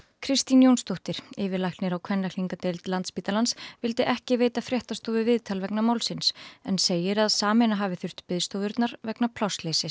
Kristín Jónsdóttir yfirlæknir á kvenlækningadeild Landspítalans vildi ekki veita fréttastofu viðtal vegna málsins en segir að sameina hafi þurft biðstofurnar vegna plássleysis